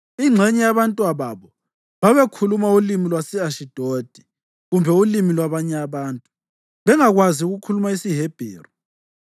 Ingxenye yabantwababo babekhuluma ulimi lwase-Ashidodi kumbe ulimi lwabanye abantu, bengakwazi ukukhuluma isiHebheru.